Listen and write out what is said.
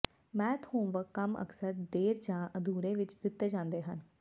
math homework ਕੰਮ ਅਕਸਰ ਦੇਰ ਜਾਂ ਅਧੂਰੇ ਵਿਚ ਦਿੱਤੇ ਜਾਂਦੇ ਹਨ